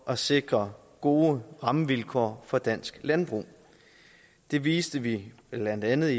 at sikre gode rammevilkår for dansk landbrug det viste vi blandt andet